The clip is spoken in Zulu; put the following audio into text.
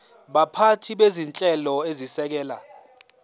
baphathi bezinhlelo ezisekela